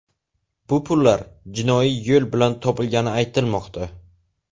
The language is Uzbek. Bu pullar jinoiy yo‘l bilan topilgani aytilmoqda.